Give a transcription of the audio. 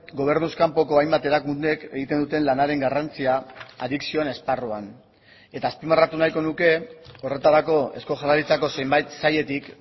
gobernuz kanpoko hainbat erakundek egiten duten lanaren garrantzia adikzioen esparruan eta azpimarratu nahiko nuke horretarako eusko jaurlaritzako zenbait sailetik